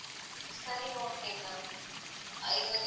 சரி okay ma'am அஹ் இது வந்து